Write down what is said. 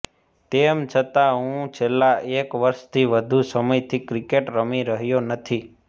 તેમ છતાં હું છેલ્લા એક વર્ષથી વધુ સમયથી ક્રિકેટ રમી રહ્યો નથી